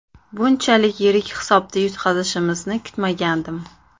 Bunchalik yirik hisobda yutqazishimizni kutmagandim.